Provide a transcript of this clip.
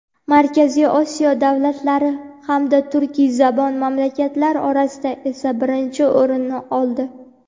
markaziy Osiyo davlatlari hamda turkiyzabon mamlakatlar orasida esa birinchi o‘rinni oldi.